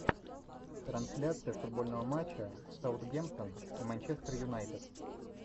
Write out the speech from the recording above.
трансляция футбольного матча саутгемптон и манчестер юнайтед